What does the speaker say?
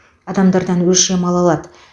адамдардан өлшем ала алады